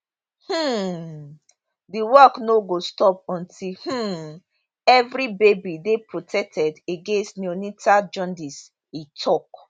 um di work no go stop until um evri baby dey protected against neonatal jaundice e tok